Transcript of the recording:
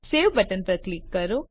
save button પર click કરો